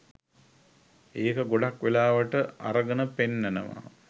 ඒක ගොඩක් වෙලාවට අරගන පෙන්නනවා.